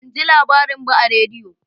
Ban ji labarin ba a rediyo